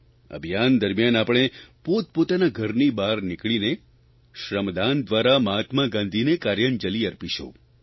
અભિયાન દરમ્યાન આપણે પોતપોતાનાં ઘરની બહાર નીકળીને શ્રમદાન દ્વારા મહાત્મા ગાંધીને કાર્યાંજલિ અર્પીશું